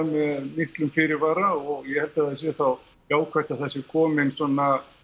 miklum fyrirvara og ég held að það sé þá jákvætt að það sé kominn svona